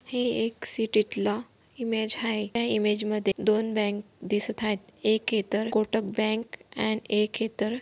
हे एक सिटीतला इमेज आहे. या इमेज मध्ये दोन बँक दिसत आहेत एक हे तर कोटक बँक अँड एक हे तर--